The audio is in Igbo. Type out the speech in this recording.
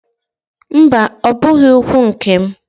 Mba! Ọ bụghị ụkwụ nke m.